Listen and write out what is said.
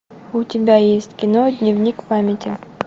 у тебя есть кино дневник памяти